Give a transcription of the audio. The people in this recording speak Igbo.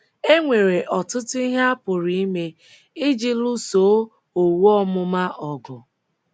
E nwere ọtụtụ ihe a pụrụ ime iji lụsoo owu ọmụma ọgụ.